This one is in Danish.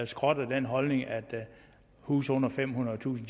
skrotter den holdning at huse under femhundredetusind